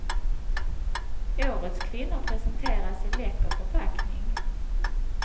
Årets kvinnor presenteras i läcker förpackning.